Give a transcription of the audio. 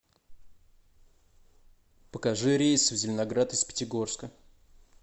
покажи рейсы в зеленоград из пятигорска